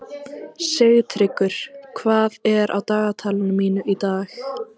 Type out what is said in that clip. Sigtryggur, hvað er á dagatalinu mínu í dag?